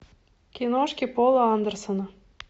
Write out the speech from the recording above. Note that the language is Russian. киношки пола андерсона